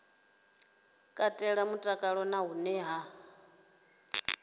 katela mutakalo na hone hune